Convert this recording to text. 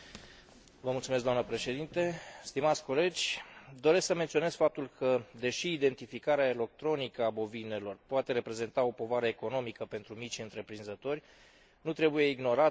Doresc să menționez faptul că, deși identificarea electronică a bovinelor poate reprezenta o povară economică pentru micii întreprinzători, nu trebuie ignorată importanța acestui proces din punctul de vedere al siguranței alimentare.